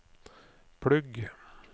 plugg